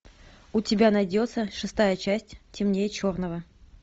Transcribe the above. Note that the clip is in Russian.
у тебя найдется шестая часть темнее черного